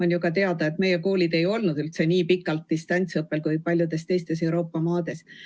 On ju ka teada, et meie koolid ei ole olnud nii pikalt distantsiõppel, kui on oldud paljudes teistes Euroopa maades.